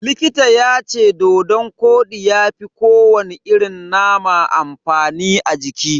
Likita yace dodon kodi ya fi ko wani irin nama amfani a jiki.